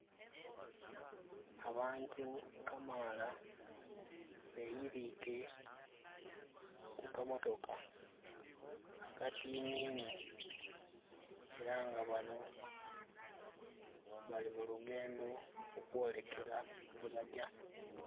Abantu kamaala beyirike ku kamotoka akatinini era nga bano bali mu lugendo okwolekera yebajja